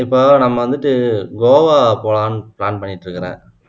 இப்போ நம்ம வந்துட்டு கோவா போலாம்னு plan பண்ணிட்டு இருக்கேன்